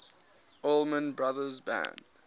allman brothers band